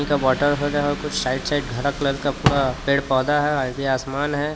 कुछ side side हरा colour का पेड़ पौधा है आसमान है।